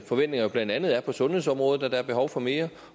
forventninger blandt andet på sundhedsområdet er at der er behov for mere